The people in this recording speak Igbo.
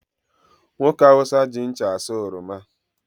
Nwoke Hausa ji ncha asaa oroma